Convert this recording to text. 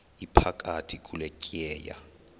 iphakathi kule tyeya